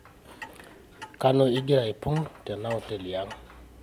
kanu igira aipung tena hoteli ang